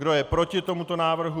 Kdo je proti tomuto návrhu?